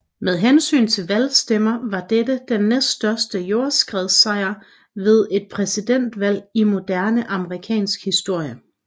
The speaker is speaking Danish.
Med hensyn til valgstemmer var dette den næststørste jordskredssejr ved et præsidentvalg i moderne amerikansk historie